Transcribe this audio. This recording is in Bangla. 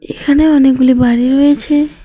এখানে অনেকগুলি বাড়ি রয়েছে।